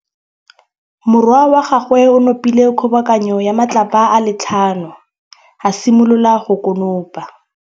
Morwa wa gagwe o nopile kgobokanô ya matlapa a le tlhano, a simolola go konopa.